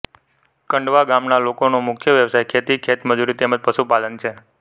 કંડવા ગામના લોકોનો મુખ્ય વ્યવસાય ખેતી ખેતમજૂરી તેમ જ પશુપાલન છે